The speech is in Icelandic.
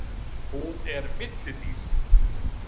Hún er villidýr.